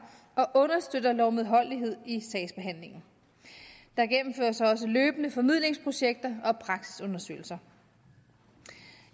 og understøtter lovmedholdelighed i sagsbehandlingen der gennemføres også løbende formidlingsprojekter og praksisundersøgelser